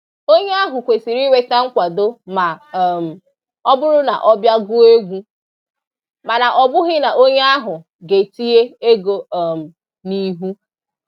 Onye ahụ kwesịrị inweta nkwado ma um ọ bụrụ na ọ bịa gụọ egwu, mana ọ bụghị na onye ahụ ga-etinye ego um n'ihu